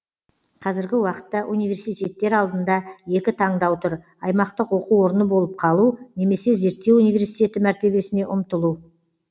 қазіргі уақытта университеттер алдында екі тандау тұр аймақтық оқу орны болып қалу немесе зерттеу университеті мәртебесіне ұмтылу